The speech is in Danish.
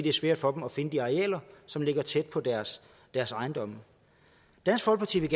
er svært for dem at finde de arealer som ligger tæt på deres deres ejendomme dansk folkeparti vil